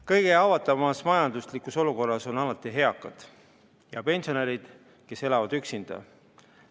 Kõige haavatavamas majanduslikus olukorras on alati eakad ja pensionärid, kes elavad üksinda.